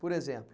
Por exemplo?